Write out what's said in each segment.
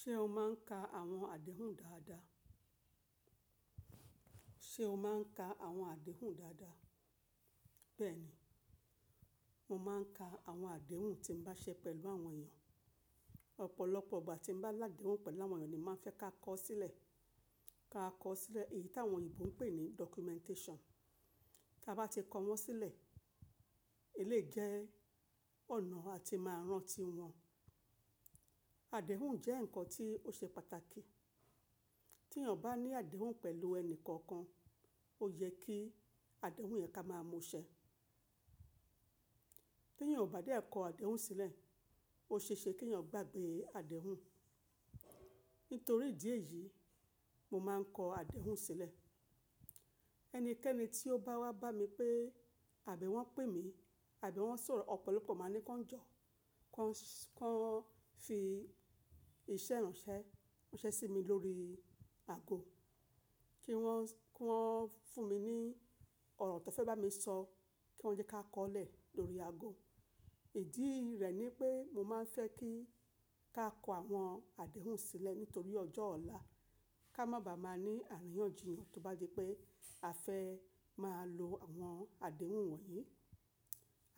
Ṣé o máà ń ka àwọn àdéhùn dáadáa? Ṣé o máa ń ka àwọn àdéhùn dáadáa? Bẹ́ẹ̀ ni, mo máa ń ka àwọn àdéhùn tí mo bá ṣe pẹ̀lú àwọn èèyàn. Ọ̀pọ̀lọpọ̀ ìgbà tí mo bá ládéhùn pẹ̀lú àwọn ènìyàn ni máa ń fẹ́ ká kọ sílẹ̀, ká kọ sílẹ̀ èyí tí àwọn òyìnbó ń pè ní documentation. Tí a bá ti kọ wọ́n sílẹ̀, eléyìí jẹ ọ̀nà a ti máa rántí wọn. Àdéhùn jẹ́ ǹkan tí ó ṣe pàtàkì. Tí èèyàn bá ní àdéhùn pẹ̀lú ẹni kankan, ó yẹ kí àdéhùn yẹn ká máa mú ṣẹ. Tí èèyàn ò bá dé kọ àdéhùn sílẹ̀, ó ṣeéṣe kí ẹ̀yàn gbàgbé àdéhùn. Nítorí ìdí èyí, mo máa ń kọ àdéhùn sílẹ̀. Ẹnikẹ́ni tí ó bá wá bá mi pé àbí wọ́n pè mí, àbí wọ́n sọ̀rọ̀, ọ̀pọ̀lọpọ̀ máa ní kí wọ́n jọ̀, kí wọ́n fi ìṣẹ̀ránṣẹ́ ránṣẹ́ sí mi lórí ago. Kí wọ́n, kí wọ́n fún mi ní ọ̀rọ̀ tó fẹ́ bá mi sọ, kí wọ́n jẹ́ ká kọ́lẹ̀ lórí ago. Ìdí rẹ̀ ni pé mo máa ń fẹ́ kí ká kọ àwọn àdéhùn sílẹ̀ nítorí ọjọ́ ọ̀la ká má bá máa ní àríyànjiyàn tó bá di pé a fẹ́ máa lo àwọn àdéhùn wọ̀nyí.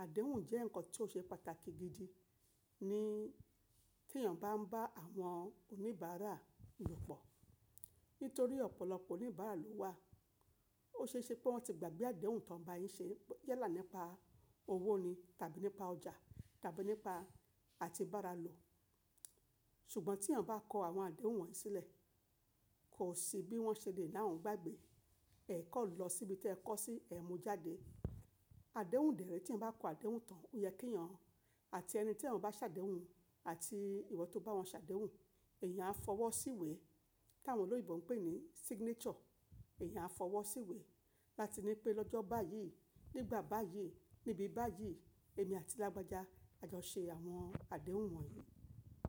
Àdéhùn jẹ́ ǹkan tí ó ṣe pàtàkì gidi ní tí èèyàn bá ń bá àwọn oníbàárà lòpọ̀. Nítorí ọ̀pọ̀lọpọ̀ oníbàárà ló wà. Ó ṣe é ṣe pé wọ́n ti gbàgbé àdéhùn tó ń bá yín ṣe jẹ́ là nípa owó ni tàbí nípa ọjà tàbí nípa àti bàárà lò. Ṣùgbọ́n tí èèyàn bá kọ àwọn àdéhùn wọ̀nyí sílẹ̀, kò sí bí wọ́n ṣe lè láwọn gbàgbé. Ẹ kọ̀ lọ síbi tí ẹ kọ́ sí, ẹ mú jáde. Àdéhùn dẹ̀ ré tí ẹn bá kọ àdéhùn tán, ó yẹ kí èèyàn àti ẹni tí èèyàn bá ṣàdéhùn àti ìwọ tó bá wọn ṣàdéhùn, èèyàn á fọwọ́ síwé tí àwọn olóyèbo ń pè ní signature. Èèyàn á fọwọ́ síwé láti ní pé lọ́jọ́ báyìí, nígbà báyìí, níbi báyìí, èmi àti lágbájá a jọ ṣe àwọn àdéhùn wọ̀nyí.